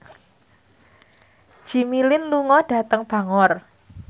Jimmy Lin lunga dhateng Bangor